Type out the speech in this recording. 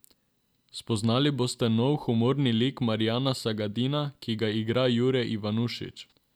Spoznali boste nov humorni lik Marjana Sagadina, ki ga igra Jure Ivanušič.